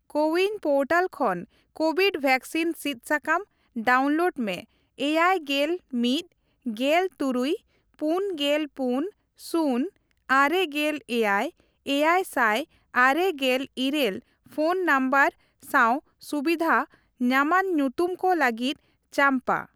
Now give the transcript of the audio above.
CoWIN portal ᱠᱷᱚᱱ covid vaccine ᱥᱤᱫ ᱥᱟᱠᱟᱢ ᱰᱟᱣᱩᱱᱞᱳᱰ ᱢᱮ ᱮᱭᱟᱭ ᱜᱮᱞ ᱢᱤᱛ, ᱜᱮᱞ ᱛᱩᱨᱩᱭ ,ᱯᱩᱱ ᱜᱮᱞ ᱯᱩᱱ ,ᱥᱩᱱ, ᱟᱨᱮ ᱜᱮᱞ ᱮᱭᱟᱭ, ᱮᱭᱟᱭ ᱥᱟᱭ ᱟᱨᱮ ᱜᱮᱞ ᱤᱨᱟᱹᱞ ᱯᱷᱚᱱ ᱱᱚᱢᱵᱚᱨ ᱥᱟᱣ ᱥᱩᱵᱤᱫᱷ ᱧᱟᱢᱟᱱ ᱧᱩᱛᱩᱢ ᱠᱚ ᱞᱟᱹᱜᱤᱫ ᱪᱟᱢᱯᱟ ᱾